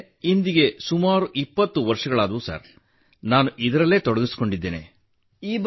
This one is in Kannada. ನನಗೆ ಇಂದಿಗೆ ಸುಮಾರು 20 ವರ್ಷಗಳಾದವು ಸರ್ ನಾನು ಇದರಲ್ಲಿಯೇ ತೊಡಗಿಸಿಕೊಂಡಿದ್ದೇನೆ